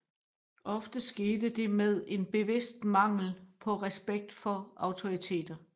Ofte skete det med en bevidst mangel på respekt for autoriteter